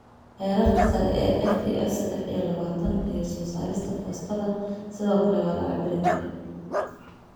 Heerarka sare ee FGF sedex iyo labatan iyo soo saarista fosfatada sidoo kale waa la cabbiri karaa.